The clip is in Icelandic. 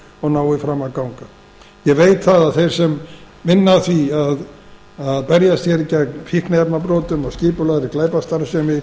og nái fram að ganga ég veit að þeir sem berjast hér gegn fíkniefnabrotum og skipulagðri glæpastarfsemi